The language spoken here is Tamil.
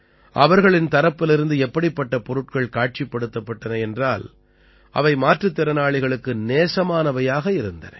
அவர்களின் தரப்பிலிருந்து எப்படிப்பட்ட பொருட்கள் காட்சிப்படுத்தப்பட்டன என்றால் அவை மாற்றுத் திறனாளிகளுக்கு நேசமானவையாக இருந்தன